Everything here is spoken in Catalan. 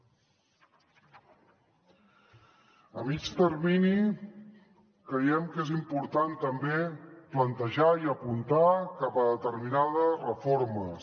a mitjà termini creiem que és important també plantejar i apuntar cap a determinades reformes